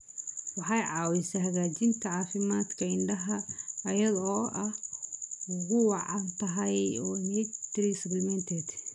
Waxay caawisaa hagaajinta caafimaadka indhaha iyada oo ay ugu wacan tahay omega-3 supplements.